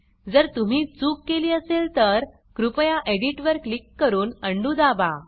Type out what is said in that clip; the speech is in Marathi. जर तुम्ही चुक केली असेल तर कृपया एडिट वर क्लिक करून अंडू दाबा